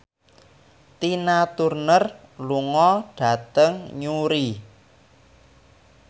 Tina Turner lunga dhateng Newry